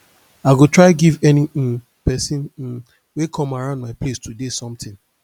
i go try give any um pesin um wey come around my place today something